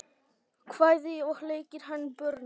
kvæði og leikir handa börnum